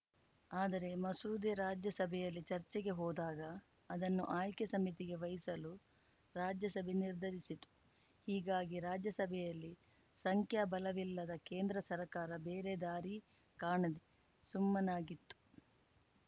ಆದರೆ ಮಸೂದೆ ರಾಜ್ಯಸಭೆಯಲ್ಲಿ ಚರ್ಚೆಗೆ ಹೋದಾಗ ಅದನ್ನು ಆಯ್ಕೆ ಸಮಿತಿಗೆ ವಹಿಸಲು ರಾಜ್ಯಸಭೆ ನಿರ್ಧರಿಸಿತ್ತು ಹೀಗಾಗಿ ರಾಜ್ಯಸಭೆಯಲ್ಲಿ ಸಂಖ್ಯಾಬಲವಿಲ್ಲದ ಕೇಂದ್ರ ಸರ್ಕಾರ ಬೇರೆ ದಾರಿ ಕಾಣದೇ ಸುಮ್ಮನಾಗಿತ್ತು